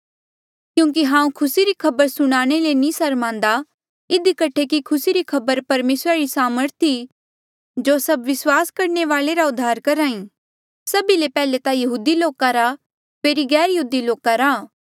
क्यूंकि हांऊँ खुसी री खबर सुनाणे ले नी सरमान्दा इधी कठे कि खुसी री खबर परमेसरा री सामर्थ ई जो सब विस्वास करणे वाले रा उद्धार करहा ई सभी ले पैहले ता यहूदी लोका रा फेरी गैरयहूदी लोका रा